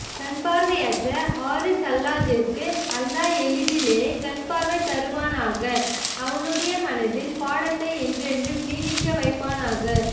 கண்பார்வையற்ற ஹாரிஸ் ஹல்லாஜிற்கு அல்லா எளிதிலே கண்பார்வையை தருவானாக அவனுடைய மனதில் பாடத்தை என்றென்றும் நீட்டிக்க வைப்பானாக